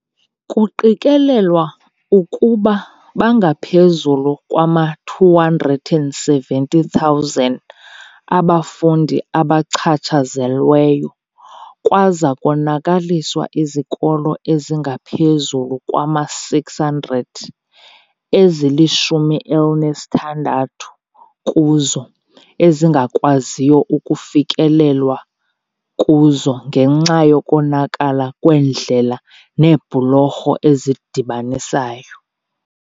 "Kuqikelelwa ukuba bangaphezulu kwama-270 000 abafundi abachatshazelweyo kwaza konakaliswa izikolo ezingaphezulu kwama-600, ezili-16 kuzo ezingakwaziyo ukufikelelwa kuzo ngenxa yokonakala kweendlela neebhulorho ezidibanisayo."